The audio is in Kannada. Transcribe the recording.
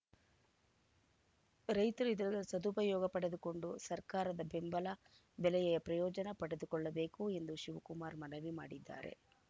ರೈತರು ಇದರ ಸದುಪಯೋಗ ಪಡೆದುಕೊಂಡು ಸರ್ಕಾರದ ಬೆಂಬಲ ಬೆಲೆಯ ಪ್ರಯೋಜನ ಪಡೆದುಕೊಳ್ಳಬೇಕು ಎಂದು ಶಿವಕುಮಾರ್‌ ಮನವಿ ಮಾಡಿದ್ದಾರೆ